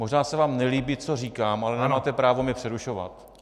Možná se vám nelíbí, co říkám, ale nemáte právo mě přerušovat.